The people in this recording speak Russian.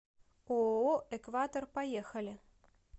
ооо экватор поехали